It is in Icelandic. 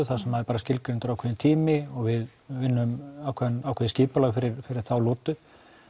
þar sem er skilgreindur ákveðinn aðgerðartími og við vinnum ákveðið ákveðið skipulag fyrir þá lotu